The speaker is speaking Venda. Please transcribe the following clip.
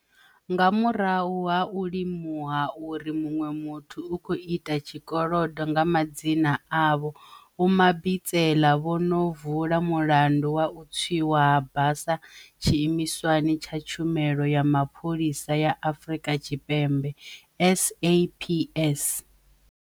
Nga murahu ha u limuha uri muṅwe muthu u khou ita tshikolodo nga madzina avho, Vho Mabitsela vho ṅo vula mulandu wa u tswiwa ha basa tshiimiswani tsha Tshumelo ya Mapholisa ya Afrika Tshipembe SAPS.